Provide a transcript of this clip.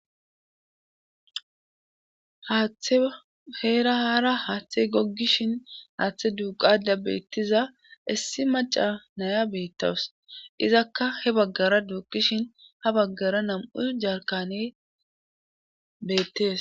haaththe heera haara haaththe goggishin haaththe duuqada beettiza issi maca naya beettawus izakka he baggara duuqishin ha baggara nam7u jarkane beettees